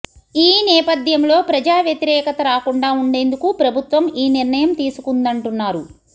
ఈ నేపథ్యంలో ప్రజావ్యతిరేకత రాకుండా ఉండేందుకు ప్రభుత్వం ఈ నిర్ణయం తీసుకుందంటున్నారు